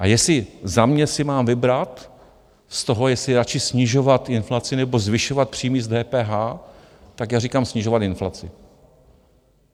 A jestli za mě si mám vybrat z toho, jestli radši snižovat inflaci, nebo zvyšovat příjmy z DPH, tak já říkám, snižovat inflaci.